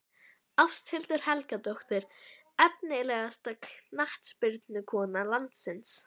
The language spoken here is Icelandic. Ásthildur Helgadóttir Efnilegasta knattspyrnukona landsins?